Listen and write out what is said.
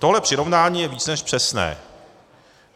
Tohle přirovnání je víc než přesné.